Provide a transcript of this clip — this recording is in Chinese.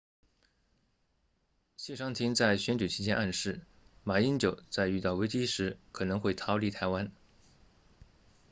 谢长廷在选举期间暗示马英九在遇到危机时可能会逃离台湾